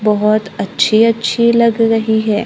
बहोत अच्छी अच्छी लग रही है।